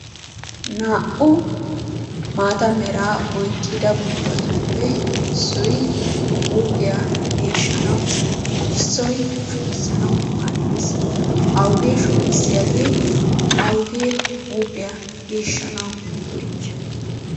Naa"u maata meraa oyqqida buquratuppe issoy huuphiya geeshshanawu, issoy shugissanawu maaddees. Awugee shugissiyagee? awugee huuphiya geeshshanawu go'ettiyoy?